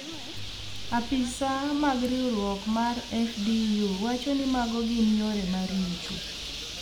apisa mag riwruok mar FDU wacho ni mago gin yore ma richo